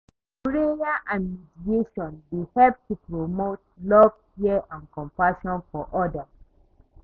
Prayer and meditation dey help to promote love, care and compassion for odas.